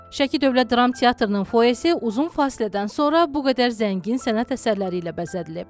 Şəki Dövlət Dram Teatrının foyesi uzun fasilədən sonra bu qədər zəngin sənət əsərləri ilə bəzədilib.